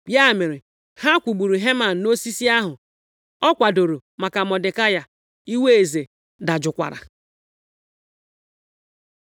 Ya mere, ha kwụgburu Heman nʼosisi ahụ ọ kwadoro maka Mọdekai. Iwe eze dajụkwara.